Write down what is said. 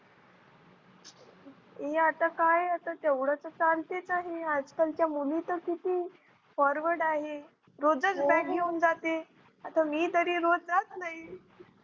ए आता काय आता तेवढं तर चालतच आहे. आजकलचा मुली तर किती Forward आहे. रोजच Bag घेऊन जाते. आता मी तरी रोज जात नाही.